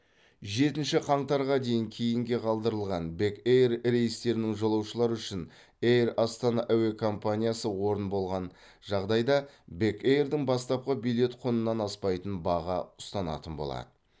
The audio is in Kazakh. жетінші қаңтарға дейін кейінге қалдырылған бек эйр рейстерінің жолаушылары үшін эйр астана әуе компаниясы орын болған жағдайда бек эйрдің бастапқы билет құнынан аспайтын баға ұстанатын болады